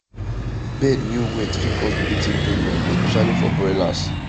bed way wet fit cause breathing problem especially for broilers